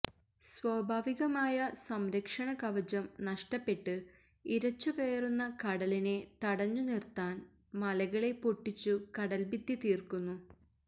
സ്വാഭാവികമായ സംരക്ഷണകവചം നഷ്ടപ്പെട്ട് ഇരച്ചു കയറുന്ന കടലിനെ തടഞ്ഞു നിർത്താൻ മലകളെ പൊട്ടിച്ചു കടൽഭിത്തി തീർക്കുന്നു